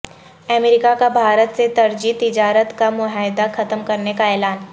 امریکہ کا بھارت سے ترجیحی تجارت کا معاہدہ ختم کرنے کا اعلان